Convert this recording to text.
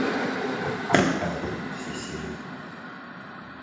триада все серии